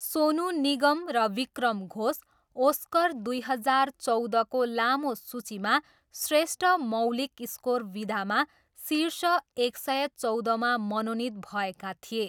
सोनु निगम र विक्रम घोष ओस्कर दुई हजार चौधको लामो सूचीमा श्रेष्ठ मौलिक स्कोर विधामा शीर्ष एक सय चौधमा मनोनित भएका थिए।